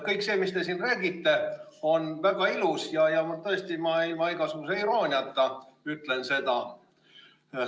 Kõik see, mis te siin räägite, on väga ilus, ma tõesti ilma igasuguse irooniata ütlen seda.